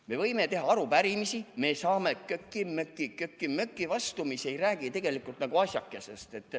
Me võime teha arupärimisi, me saame köki-möki vastuseid, mis ei räägi tegelikult asjadest.